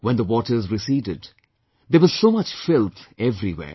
When the waters receded, there was so much filth everywhere